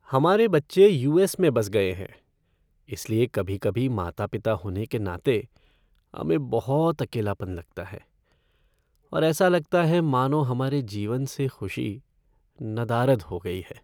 हमारे बच्चे U S में बस गए हैं, इसलिए कभी कभी माता पिता होने के नाते हमें बहुत अकेलापन लगता है और ऐसा लगता है मानो हमारे जीवन से खुशी नदारद हो गई है।